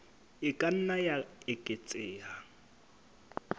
e ka nna ya eketseha